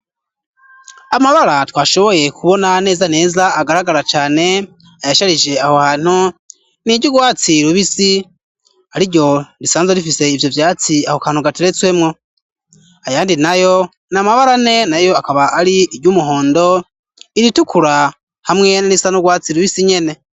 Amabara twashoboye kubona neza neza agaragara cane ayasharije aho hanthu niryu rwatsi rubisi ariryo risanzwe rifise ivyo vyatsi aho kantu gateretswemwo ayandi nayo n'amabara ane nayo akaba ari iryumuhondo iritukura hamwe niryu rwatsi rubisi nyene.